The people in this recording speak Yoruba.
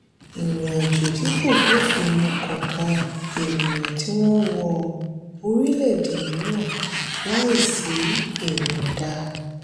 ìrìn-àjò tí kò bófin mu kan kan ènìyàn tí wọ́n wọ orílẹ̀-èdè mìíràn láìsí ìyọ̀da.